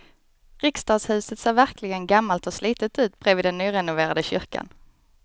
Riksdagshuset ser verkligen gammalt och slitet ut bredvid den nyrenoverade kyrkan.